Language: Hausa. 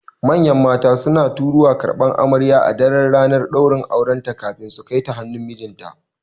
Manyan mata suna taruwa su karɓi amarya a daran ranar ɗaurin aure kafin su Kaita hannun mijinta